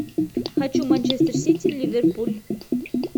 хочу манчестер сити ливерпуль